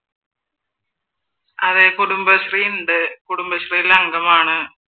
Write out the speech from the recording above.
അതെ കുടുംബശ്രീയുണ്ട് കുടുംബശ്രീയിൽ അംഗം ആണ്